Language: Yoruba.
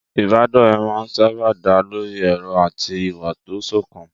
Ìbádọ́rẹ̀ẹ́ máa ń sáábà dá lórí èrò àti ìwà tó sọ̀kan.